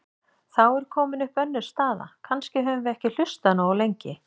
Þá er komin upp önnur staða: Kannski höfum við ekki hlustað nógu lengi.